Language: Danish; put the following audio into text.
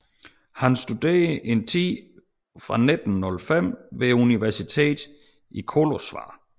Han studerede en tid fra 1905 ved universitetet i Kolozsvár